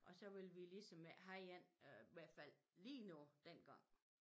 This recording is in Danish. Og så ville vi ligesom ikke have en i hvert fald lioe nu dengang